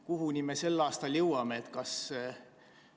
Kuhumaani me sel aastal jõuame?